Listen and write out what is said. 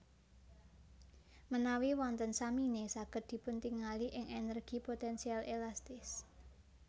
Menawi wonten samine saged dipuntingali ing energi potensial elastis